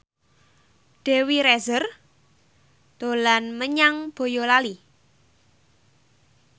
Dewi Rezer dolan menyang Boyolali